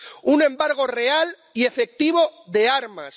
un embargo real y efectivo de armas